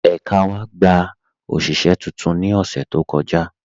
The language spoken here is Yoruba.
Ẹka wa gbà oṣiṣẹ̀ tuntun ni ọṣẹ̀ tó kọja